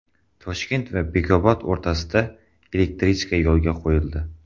Toshkent va Bekobod o‘rtasida elektrichka yo‘lga qo‘yildi.